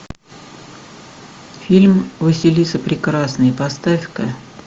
фильм василиса прекрасная поставь ка